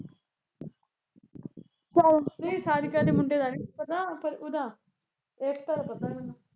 ਨਹੀਂ ਸਾਰਿਕਾ ਦੇ ਮੁੰਡੇ ਦਾ ਨੀ ਮੈਨੂੰ ਪਤਾ ਪਰ ਉਹਦਾ ਏਕਤਾ ਦਾ ਪਤਾ ਐ ਮੈਨੂੰ